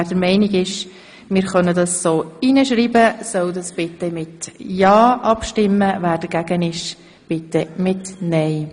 Wer der Meinung ist, wir könnten das so hineinschreiben, stimmt ja, wer dagegen ist, stimmt nein.